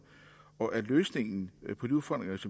og at løsningen på de udfordringer